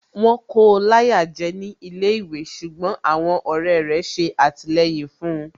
Wọ́n kóo láyà jẹ́ ní ilé ìwé ṣùgbọ́n àwọn ọ̀rẹ́ rẹ̀ ṣe àtìlẹyìn fun